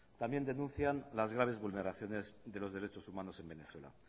también denuncian las graves vulneraciones de los derechos humanos en venezuela